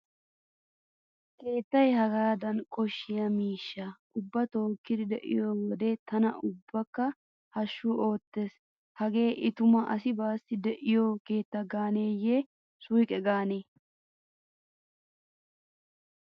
Keettay hagaadan koshshiya miishshaa ubbaa tookkidi de'iyo wode tana ubbakka hashshukka oottees. Hagee i tuma asi baassi de'iyo keetta gaaneeyye suuqe gaane.